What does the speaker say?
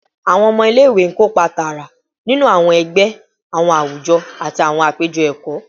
Awọn ọmọ ile-iwe kopa taara ninu awọn ẹgbẹ, awọn awujọ, ati awọn apejọ ẹkọ